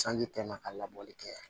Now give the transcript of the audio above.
Sanji tɛna ka labɔli kɛ